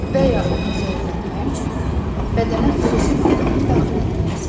Və ya onu zəiflətmək üçün bədənə xüsusi maddənin daxil edilməsidir.